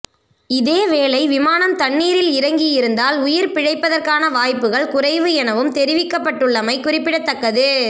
இதேவேளை விமானம் தண்ணீரில் இறங்கியிருந்தால் உயிர் பிழைப்பதற்கான வாய்ப்புகள் குறைவு எனவும் தெரிவிக்கப்பட்டுள்ளமை குறிப்பிடத்தக்கது